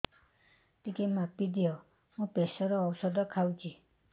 ଟିକେ ମାପିଦିଅ ମୁଁ ପ୍ରେସର ଔଷଧ ଖାଉଚି